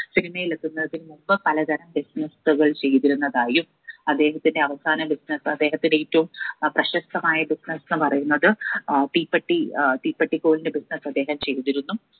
cinema യിൽ എത്തുന്നതിന് മുമ്പ് പലതരം business കൾ ചെയ്തിരുന്നതായും അദ്ദേഹത്തിന്റെ അവസാന business അദ്ദേഹത്തിന്റെ ഏറ്റവും അഹ് പ്രശസ്തമായ business ന്ന് പറയുന്നത് ഏർ തീപ്പെട്ടി ഏർ തീപ്പെട്ടിക്കോലിന്റെ business അദ്ദേഹം ചെയ്തിരുന്നു